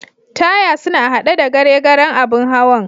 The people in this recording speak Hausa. Taya suna a'hade da gare garen abun hawan.